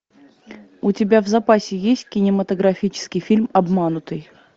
у тебя в запасе есть кинематографический фильм обманутый